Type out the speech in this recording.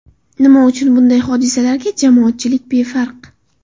Nima uchun bunday hodisalarga jamoatchilik befarq?